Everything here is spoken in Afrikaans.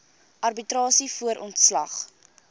arbitrasie voor ontslag